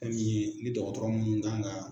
e min ye ni dɔgɔtɔrɔ munnu kan ka